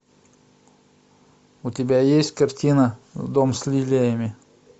у тебя есть картина дом с лилиями